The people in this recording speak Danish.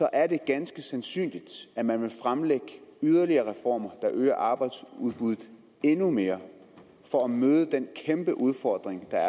er det ganske sandsynligt at man vil fremlægge yderligere reformer der øger arbejdsudbuddet endnu mere for at møde den kæmpe udfordring der